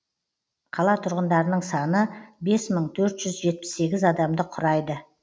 қала тұрғындарының саны бес мың төрт жүз жетпіс сегіз адамды құрайды